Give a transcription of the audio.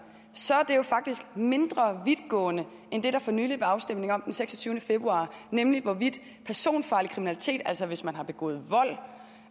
ser man det jo faktisk er mindre vidtgående end det der for nylig var afstemning om den seksogtyvende februar nemlig hvorvidt personfarlig kriminalitet altså hvis man har begået vold